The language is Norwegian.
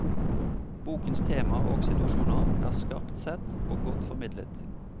Bokens tema og situasjoner er skarpt sett og godt formidlet.